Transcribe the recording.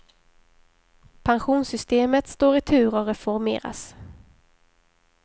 Pensionssystemet står i tur att reformeras.